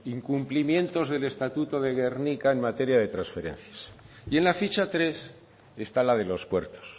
incumplimientos del estatuto de gernika en materia de transferencias y en la ficha tres está la de los puertos